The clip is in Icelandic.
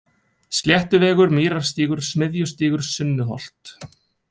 Sléttuvegur, Mýrarstígur, Smiðjustígur, Sunnuholt